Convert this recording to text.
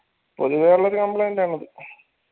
പൊതുവെ ഉള്ളൊരു complaint ആണത്